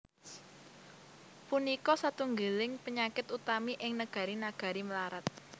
Punika satunggiling panyakit utami ing negari negari mlarat